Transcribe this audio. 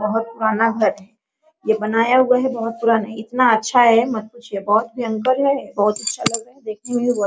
बहुत पुराना है | यह बनाया हुआ है | बहुत पुराना इतना अच्छा है मत पूछिए बहुत भयंकर है बहुत अच्छा लग रहा है देखने में बहुत |